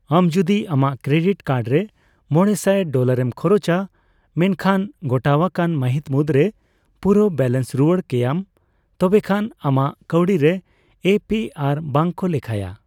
ᱟᱢ ᱡᱩᱫᱤ ᱟᱢᱟᱜ ᱠᱨᱮᱰᱤᱴ ᱠᱟᱨᱰ ᱨᱮᱢᱚᱲᱮᱥᱟᱭ ᱰᱚᱞᱟᱨᱮᱢ ᱠᱷᱚᱨᱚᱪᱟ ᱢᱮᱱᱠᱷᱟᱱ ᱜᱚᱴᱟᱶᱟᱠᱟᱱ ᱢᱟᱹᱦᱤᱛ ᱢᱩᱫᱨᱮ ᱯᱩᱨᱟᱹᱣ ᱵᱮᱞᱮᱱᱥ ᱨᱩᱣᱟᱹᱲ ᱠᱮᱭᱟᱢ, ᱛᱚᱵᱮᱠᱷᱟᱱ ᱟᱢᱟᱜ ᱠᱟᱣᱰᱤ ᱨᱮ ᱮ ᱯᱤ ᱟᱨ ᱵᱟᱝ ᱠᱚ ᱞᱮᱠᱷᱟᱭᱟ ᱾